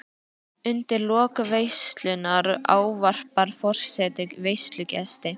Undir lok veislunnar ávarpar forseti veislugesti.